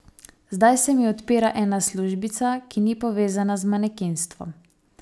Zdaj se mi odpira ena službica, ki ni povezana z manekenstvom.